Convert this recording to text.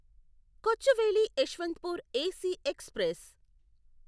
Kochuveli Yesvantpur AC express